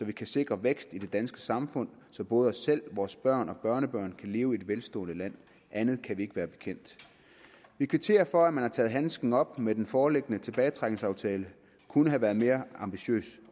kan sikre vækst i det danske samfund så både vi selv vores børn og børnebørn kan leve i et velstående land andet kan vi ikke være bekendt vi kvitterer for at man har taget handsken op men den foreliggende tilbagetrækningsaftale kunne have været mere ambitiøs